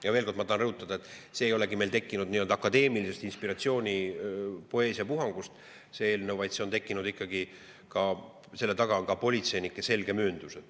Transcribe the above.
Ja veel kord ma tahan rõhutada: see eelnõu ei olegi meil tekkinud akadeemilise inspiratsiooni- ja poeesiapuhangust, vaid see on tekkinud ikkagi nii, et selle taga on ka politseinike selge mööndus.